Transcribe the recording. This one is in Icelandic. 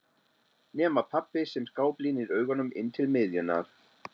Nema pabbi sem skáblínir augunum inn til miðjunnar.